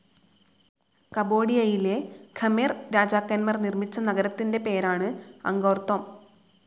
കമ്പോഡിയയിലെ Khmer രാജാക്കൻമാർ നിർമിച്ച നഗരത്തിന്റെ പേരാണ് അങ്കോർതോം.